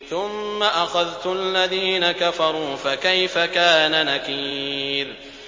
ثُمَّ أَخَذْتُ الَّذِينَ كَفَرُوا ۖ فَكَيْفَ كَانَ نَكِيرِ